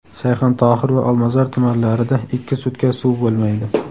Shayxontohur va Olmazor tumanlarida ikki sutka suv bo‘lmaydi.